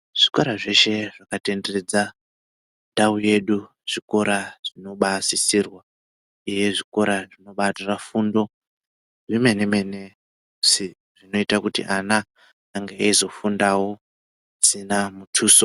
Zvikora zveshe zvakatenderedza ndau yedu, zvikora zvinobasisirwa uye zvikora zvinobatora fundo zvemene-mene musi zvinoitakuti ana ange eizofundawo pasina mutuso.